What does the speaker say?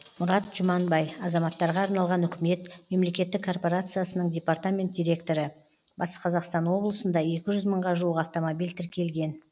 мұрат жұманбай азаматтарға арналған үкімет мемлекеттік корпорациясының департамент директоры батыс қазақстан облысында екі жүз мыңға жуық автомобиль тіркелген